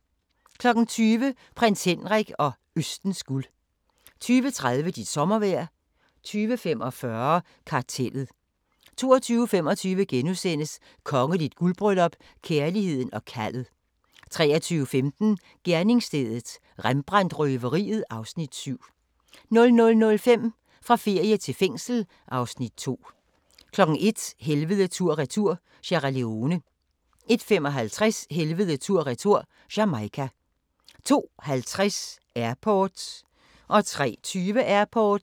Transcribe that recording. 20:00: Prins Henrik og Østens guld 20:30: Dit sommervejr 20:45: Kartellet 22:25: Kongeligt guldbryllup - kærligheden og kaldet * 23:15: Gerningsstedet – Rembrandt-røveriet (Afs. 7) 00:05: Fra ferie til fængsel (Afs. 2) 01:00: Helvede tur/retur - Sierra Leone 01:55: Helvede tur/retur - Jamaica 02:50: Airport 03:20: Airport